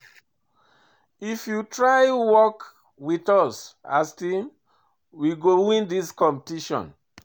If you try work wit us as team, we go win dis competition.